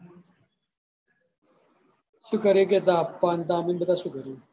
શું કરી કે તાર પપ્પા ને તાર મમ્મી ને બધા શું કરી હિ?